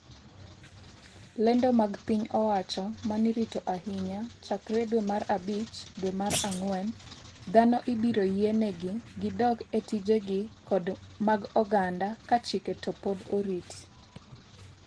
lendo mag piny owacho manirito ahinya chakre dwe mar abich dwe mar ang'wen, dhano ibiro yie negi gidog e tijegi kod mag oganda kachike to pod orit